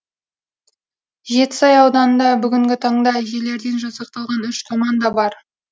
жетісай ауданында бүгінгі таңда әжелерден жасақталған үш команда бар